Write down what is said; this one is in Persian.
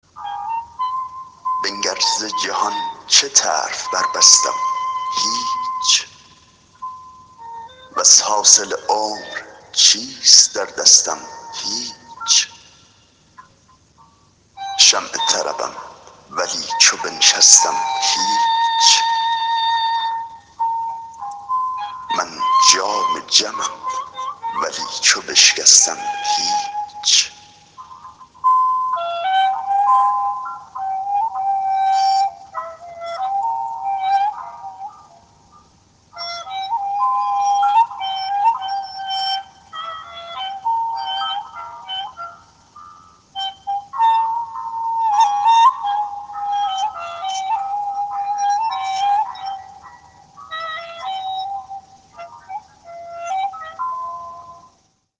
بنگر ز جهان چه طرف بربستم هیچ وز حاصل عمر چیست در دستم هیچ شمع طربم ولی چو بنشستم هیچ من جام جمم ولی چو بشکستم هیچ